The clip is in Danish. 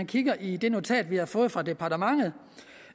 kigger i det notat vi har fået fra departementet